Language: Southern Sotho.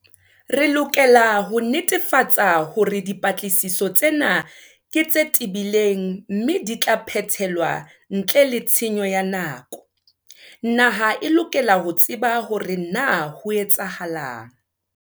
Re lokela ho netefatsa hore dipatlisiso tsena ke tse tebileng mme di tla phethelwa ntle le tshenyo ya nako. Naha e lokela ho tseba ho re na ho etsahetseng.